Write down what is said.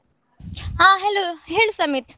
ಹಾ hello ಹೇಳು ಸಮೀತ್.